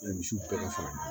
Misiw bɛɛ bɛ fara